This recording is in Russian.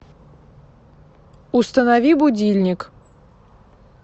установи будильник